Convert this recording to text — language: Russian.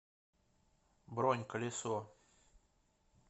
бронь колесо